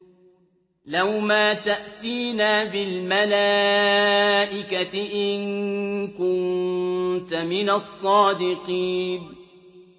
لَّوْ مَا تَأْتِينَا بِالْمَلَائِكَةِ إِن كُنتَ مِنَ الصَّادِقِينَ